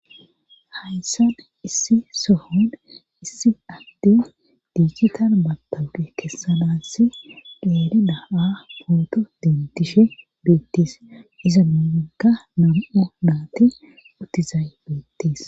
Haysan issi sohon issi adte diicchitan batabqe kessanass deerida7a pooto dentishe beettes iza muinka nam7o naati utizay bettees